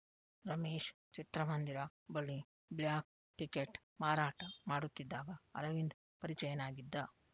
ರಮೇಶ್‌ ಚಿತ್ರಮಂದಿರ ಬಳಿ black ticket ಮಾರಾಟ ಮಾಡುತ್ತಿದ್ದಾಗ ಅರವಿಂದ್‌ ಪರಿಚಯನಾಗಿದ್ದ